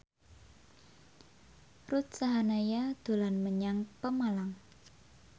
Ruth Sahanaya dolan menyang Pemalang